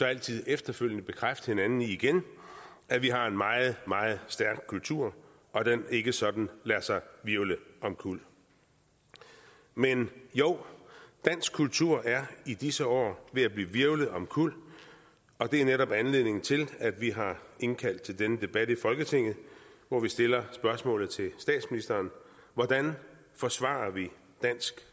altid efterfølgende bekræfte hinanden i igen at vi har en meget meget stærk kultur og at den ikke sådan lader sig hvirvle omkuld men jo dansk kultur er i disse år ved at blive hvirvlet omkuld og det er netop anledningen til at vi har indkaldt til denne debat i folketinget hvor vi stiller spørgsmålet til statsministeren hvordan forsvarer vi dansk